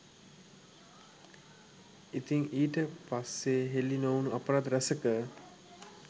ඉතින් ඊට පස්සේහෙලි නොවුනු අපරාධ රැසක